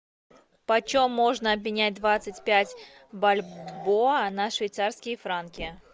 почем можно обменять двадцать пять бальбоа на швейцарские франки